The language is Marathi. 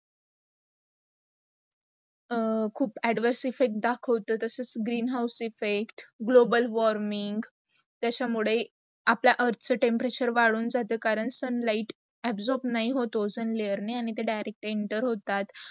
खूप adverse effect दाखवतो जस greenhouse effect, global warming, त्याचा मुडे, आपला earth चा temperature वाफून जातो. करण sunlight absorb नाही होत ऑक्सन layer आणी ते direct enter होतात.